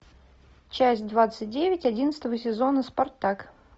часть двадцать девять одиннадцатого сезона спартак